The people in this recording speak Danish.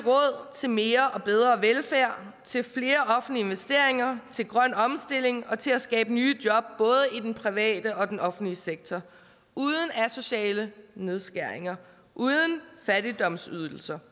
til mere og bedre velfærd til flere offentlige investeringer til grøn omstilling og til at skabe nye job både i den private og den offentlige sektor uden asociale nedskæringer uden fattigdomsydelser